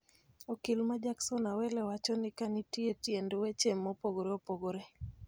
Okil ma Jackson Awele wacho ni ka nitie tiend weche mopogore opogore